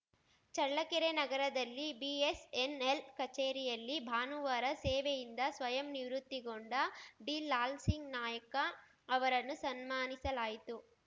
ಚಳ್ಳಕೆರೆ ನಗರದಲ್ಲಿ ಬಿಎಸ್‌ಎನ್‌ಎಲ್‌ ಕಚೇರಿಯಲ್ಲಿ ಭಾನುವಾರ ಸೇವೆಯಿಂದ ಸ್ವಯಂ ನಿವೃತ್ತಿಗೊಂಡ ಡಿಲಾಲ್‌ಸಿಂಗ್‌ ನಾಯ್ಕ ಅವರನ್ನು ಸನ್ಮಾನಿಸಲಾಯಿತು